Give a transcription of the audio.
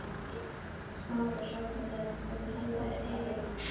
Smára hrópa þegar hann var kominn alveg upp að þeim.